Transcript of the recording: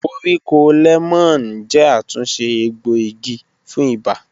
Koríko lẹmọọn jẹ atunṣe egboigi fun iba